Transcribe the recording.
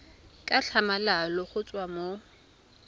ka tlhamalalo go tswa mo